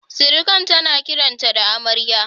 Sirikan ta na kiran ta da Amarya